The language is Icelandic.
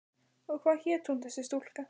Og hvað hét hún þessi stúlka?